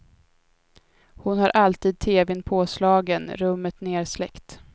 Hon har alltid teven påslagen, rummet nersläckt.